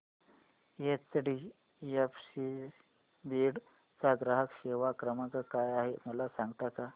HDFC Beed चा ग्राहक सेवा क्रमांक काय आहे मला सांगता का